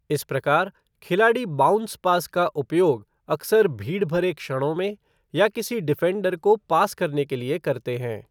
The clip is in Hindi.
इस प्रकार, खिलाड़ी बाउंस पास का उपयोग अक्सर भीड़ भरे क्षणों में, या किसी डिफ़ेंडर को पास करने के लिए करते हैं।